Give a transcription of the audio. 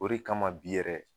O de kama bi yɛrɛ